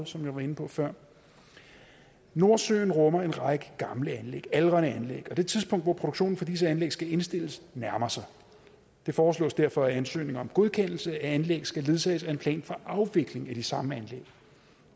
som jeg var inde på før nordsøen rummer en række aldrende anlæg og det tidspunkt hvor produktionen for disse anlæg skal indstilles nærmer sig det foreslås derfor at ansøgning om godkendelse af anlæg skal ledsages af en plan for afvikling af de samme anlæg